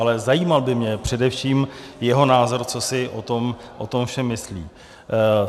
Ale zajímal by mě především jeho názor, co si o tom všem myslí.